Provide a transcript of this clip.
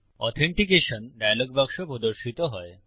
authentication dialog বাক্স প্রদর্শিত হয়